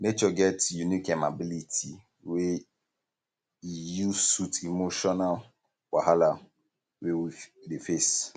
nature get unique um ability wey e use soothe emotional wahala wey we dey face